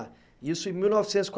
Isso em mil novecentos e